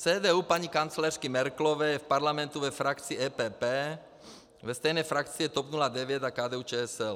CDU paní kancléřky Merkelové je v parlamentu ve frakci EPP, ve stejné frakci je TOP 09 a KDU-ČSL.